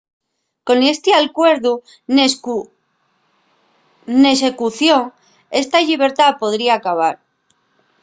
con esti alcuerdu n’execución esta llibertá podría acabar